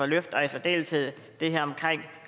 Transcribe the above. løft og i særdeleshed det her omkring